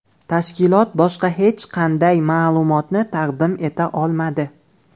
Tashkilot boshqa hech qanday ma’lumotni taqdim eta olmadi.